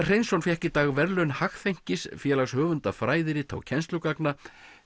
Hreinsson fékk í dag verðlaun Félags höfunda fræðirita og kennslugagna